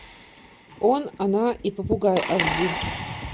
он она и попугай аш ди